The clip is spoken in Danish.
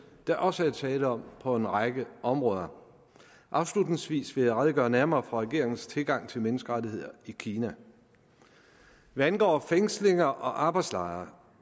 der også er tale om på en række områder afslutningsvis vil jeg redegøre nærmere for regeringens tilgang til menneskerettigheder i kina hvad angår fængslinger og arbejdslejre